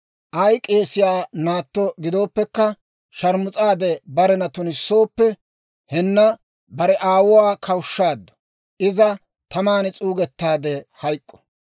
Ay k'eesiyaa naatto gidooppekka sharmus'aade barena tunissooppe, henna bare aawuwaa kawushshaaddu. Iza taman s'uugettaade hayk'k'u.